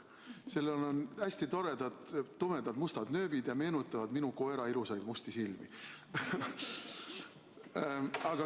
Sellel on hästi toredad mustad nööbid ja need meenutavad minu koera ilusaid musti silmi.